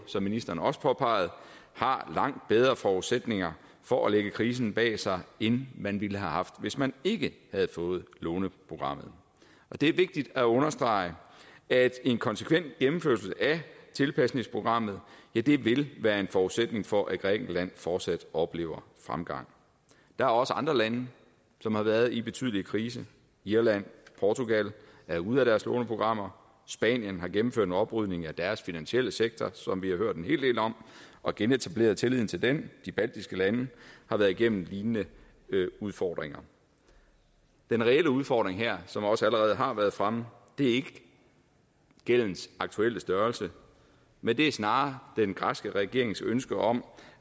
som ministeren også påpegede har langt bedre forudsætninger for at lægge krisen bag sig end man ville have haft hvis man ikke havde fået låneprogrammet det er vigtigt at understrege at en konsekvent gennemførelse af tilpasningprogrammet vil være en forudsætning for at grækenland fortsat oplever fremgang der er også andre lande som har været i betydelig krise irland og portugal er ude af deres låneprogrammer spanien har gennemført en oprydning i deres finansielle sektor som vi har hørt en hel del om og genetableret tilliden til den de baltiske lande har været igennem lignende udfordringer den reelle udfordring her som det også allerede har været fremme er ikke gældens aktuelle størrelse men snarere den græske regerings ønske om